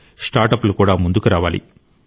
స్టార్ట్అప్లు కూడా ముందుకు రావాలి